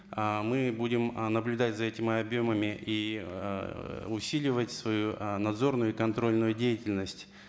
ыыы мы будем ы наблюдать за этими объемами и ыыы усиливать свою ы надзорную и контрольную деятельность